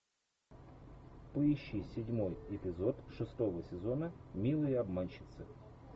поищи седьмой эпизод шестого сезона милые обманщицы